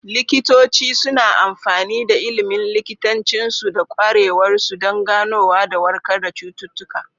Likitoci suna amfani da ilimin likitancinsu da ƙwarewarsu don ganowa da warkar da cututtuka.